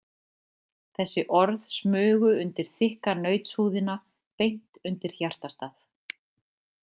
Þessi orð smugu undir þykka nautshúðina, beint undir hjartastað.